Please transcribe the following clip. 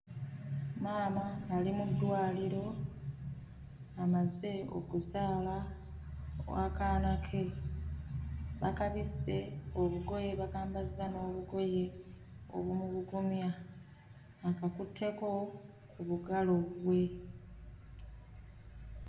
Maama ali mu ddwaliro, amaze okuzaala akaana ke, bakabisse obugoye bakambazza n'obogoye obumubugumya, akakutteko obugalo bwe.